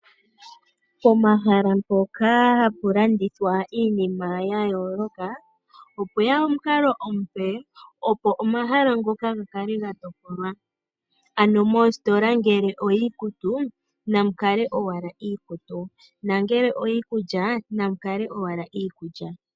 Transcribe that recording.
Pomahala mpoka hapu landithwa iinima ya yooloka opwe ya omukalo omupe, opo omahala ngoka ga kale ga topolwa, ano mositola ngele oyiikutu namu kale owala iikutu nongele oyiikulya, namu kale owala iikulya.